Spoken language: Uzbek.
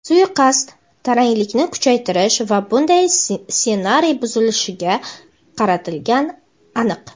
Suiqasd taranglikni kuchaytirish va bunday ssenariyni buzishga qaratilgani aniq.